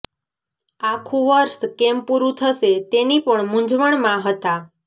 આખું વર્ષ કેમ પુરું થશે તેની પણ મુંઝવણમાં હતા